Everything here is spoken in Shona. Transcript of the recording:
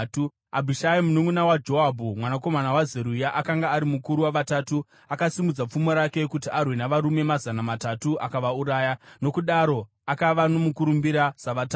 Abhishai mununʼuna waJoabhu mwanakomana waZeruya akanga ari mukuru waVatatu. Akasimudza pfumo rake kuti arwe navarume mazana matatu, akavauraya, nokudaro akava nomukurumbira saVatatu.